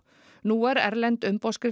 nú er erlend